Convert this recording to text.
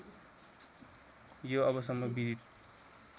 यो अबसम्म विदित